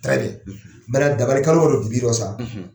Dakar w yɛrɛ tun b'i dɔn sa.